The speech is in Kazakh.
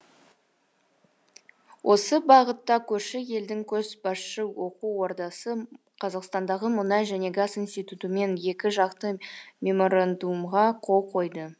осы бағытта көрші елдің көшбасшы оқу ордасы қазақстандағы мұнай және газ институтымен екіжақты меморандумға қол қойды